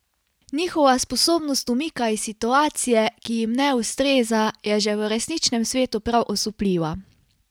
Njihova sposobnost umika iz situacije, ki jim ne ustreza, je že v resničnem svetu prav osupljiva.